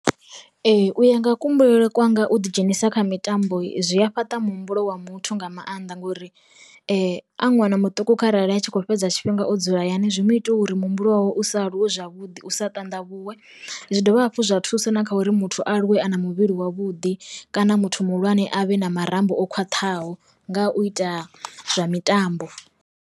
Ee u ya nga ku humbulele kwanga u ḓi dzhenisa kha mitambo zwi a fhaṱa muhumbulo wa muthu nga maanḓa ngori, a ṅwana muṱuku kharali a tshi kho fhedza tshifhinga o dzula hayani zwi mu itwa uri muhumbulo wau u aluwe zwavhuḓi u sa tanda vhuwe, zwi dovha hafhu zwa thusa na kha uri muthu a aluwe a na muvhili wavhuḓi kana muthu muhulwane avhe na marambo o khwaṱhaho nga u ita zwa mitambo.